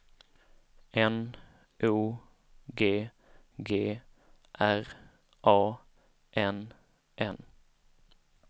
N O G G R A N N